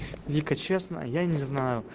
вика честно я не знаю